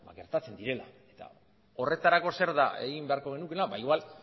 gertatzen direla eta horretarako zer da egin beharko genukeena ba igual